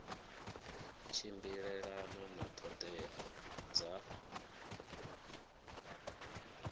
tshimbilelana na ṱhoḓea dza nqf